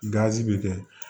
bɛ kɛ